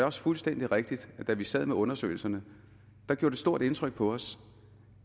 også fuldstændig rigtigt at da vi sad med undersøgelserne gjorde det stort indtryk på os